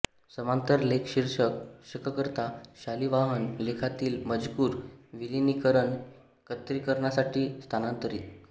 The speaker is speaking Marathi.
समांतर लेखशीर्षक शककर्ता शालिवाहन लेखातील मजकूर विलिनीकरणएकत्रीकरणासाठी स्थानांतरित